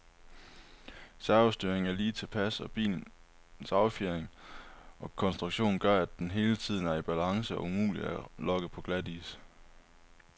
Servostyringen er lige tilpas, og bilens affjedring og konstruktion gør, at den hele tiden er i balance og umulig at lokke på glatis.